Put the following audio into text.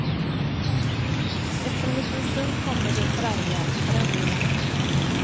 Efter en liten stund kommer de förargliga rännilarna.